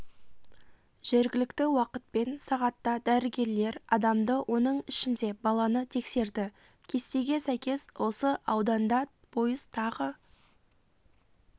жергілікті уақытпен сағатта дәрігерлер адамды оның ішінде баланы тексерді кестеге сәйкес осы ауданда пойыз тағы